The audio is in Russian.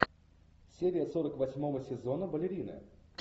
серия сорок восьмого сезона балерина